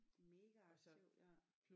Mega aktivt ja